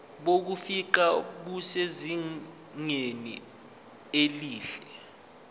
bokufingqa busezingeni elihle